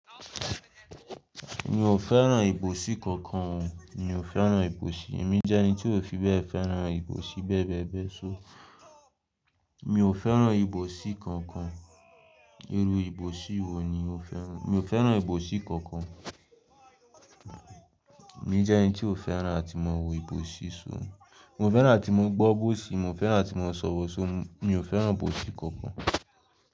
Mi ò fẹ́ràn ìbòsí kankan o. Mi ò fẹ́ràn ìbòsí. Èmi jẹ́ ẹni tí ò fi bẹ́ẹ̀ fẹ́ràn ìbòsí bẹ́ẹ̀ bẹ́ẹ̀ bẹ́ẹ̀ so. Mi ò fẹ́ràn ìbòsí kankan. Iru ìbòsí wo ni o fẹ́ràn? Mi ò fẹ́ràn ìbòsí kankan. Èmi jẹ́ ẹni tí ò fẹ́ràn láti máa wo ìbòsí so. Mi ò fẹ́ràn láti máa gbọ́ ìbòsí, mi ò fẹ́ràn láti máa sọ ìbòsí so. Mi ò fẹ́ràn ìbòsí kankan.